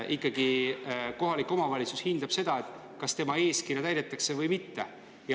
Kohalik omavalitsus hindab seda, kas tema eeskirju täidetakse või mitte.